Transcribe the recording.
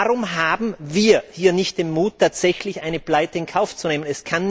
Warum haben wir hier nicht den Mut, tatsächlich eine Pleite in Kauf zu nehmen?